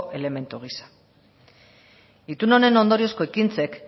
elementu gisa itun honen ondoriozko ekintzek